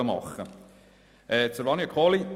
Zu Grossrätin Kohli: